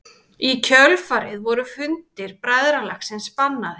Í kjölfarið voru fundir bræðralagsins bannaðir.